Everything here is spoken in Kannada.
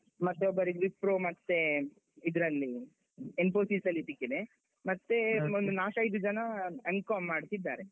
ಮತ್ತೆ ಒಬ್ಬರಿಗೆ Wipro ಮತ್ತೆ ಇದ್ರಲ್ಲಿ Infosys ಅಲ್ಲಿ ಸಿಕ್ಕಿದೆ, ಮತ್ತೆ ನಾಲ್ಕೈದು ಜನ M.Com ಮಾಡ್ತಾ ಇದ್ದಾರೆ.